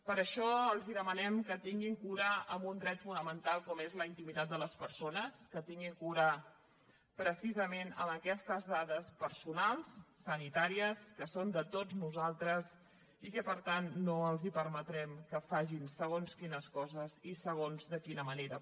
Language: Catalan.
per això els demanem que tinguin cura en un dret fonamental com és la intimitat de les persones que tinguin cura precisament amb aquestes dades personals sanitàries que són de tots nosaltres i que per tant no els permetrem que facin segons quines coses i segons de quina manera